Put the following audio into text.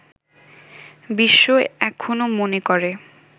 বিশ্ব এখনো মনে করে